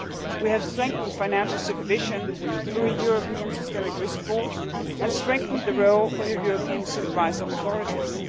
We have strengthened financial supervision through a European systemic risk board and strengthened the role of the European supervisory authorities.